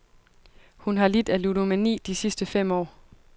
Hun har lidt af ludomani de sidste fem år.